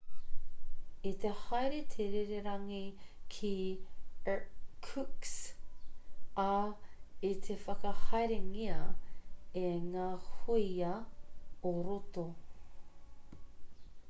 i te haere te rererangi ki irkutsk ā i te whakahaerengia e ngā hōia ō-roto